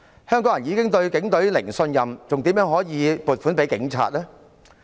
香港人已經對警隊"零信任"，怎可以撥款給警察呢？